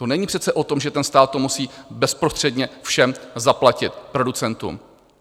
To není přece o tom, že ten stát to musí bezprostředně všem zaplatit, producentům.